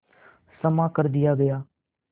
क्षमा कर दिया गया